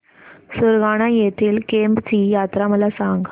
सुरगाणा येथील केम्ब ची यात्रा मला सांग